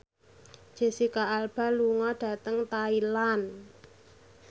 Jesicca Alba lunga dhateng Thailand